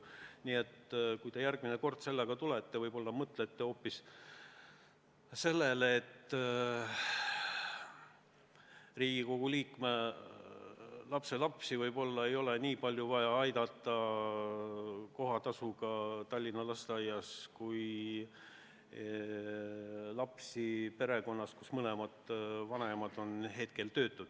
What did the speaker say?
Nii et kui te järgmine kord sellega välja tulete, võib-olla mõtlete hoopis sellele, et Riigikogu liikme lapselapsi ei ole võib-olla vaja kohatasu maksmisega Tallinna lasteaias nii palju aidata kui lapsi perekonnas, kus mõlemad vanemad on näiteks töötud.